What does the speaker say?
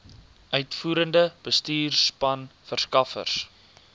uitvoerende bestuurspan verskaffers